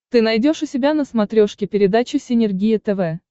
ты найдешь у себя на смотрешке передачу синергия тв